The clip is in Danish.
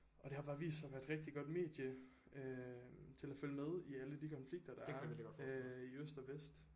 Og det har bare vist sig at være et rigtig godt medie øh til at følge med i alle de konflikter der øh i øst og vest